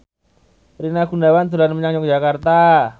Rina Gunawan dolan menyang Yogyakarta